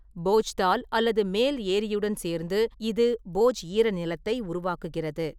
போஜ்தால் அல்லது மேல் ஏரியுடன் சேர்ந்து, இது போஜ் ஈரநிலத்தை உருவாக்குகிறது.